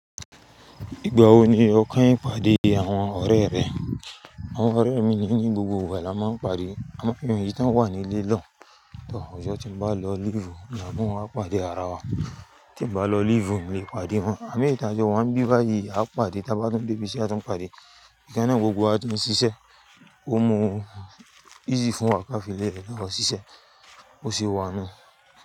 Ìgbà wo ni o kanyin pàdé àwọn ọ̀rẹ́ rẹ? Àwọn ọ̀rẹ́ mi ni ní gbogbo ìgbà la máa ń pàdé. A máa ń fi ohun tí a wà nílé lọ. Ọ̀jọ̀ tí mo bá lọ lílù, mo máa mú wọn wá pàdé ara wa. Tí mo bá lọ lílù, mo lè pàdé wọn. À mí ìtajà, wọn ń bí wá yìí, a pàdé. Tí a bá dún dé ibi tí a tún pàdé. Ìkanà gbogbo a tún ṣiṣẹ́. Ó mu un easy fún wa ká fi lè lọ ṣiṣẹ́. Ó sì wọnu.